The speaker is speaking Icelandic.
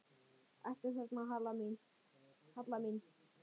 Ertu þarna, Halla mín?